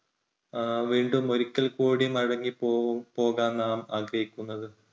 അഹ് വീണ്ടും ഒരിക്കൽ കൂടി മടങ്ങി പോ~പോകാൻ നാം ആഗ്രഹിക്കുന്നത്.